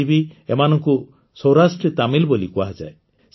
ଆଜି ବି ଏମାନଙ୍କୁ ସୌରାଷ୍ଟ୍ରୀ ତାମିଲ୍ ବୋଲି କୁହାଯାଏ